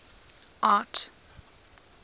art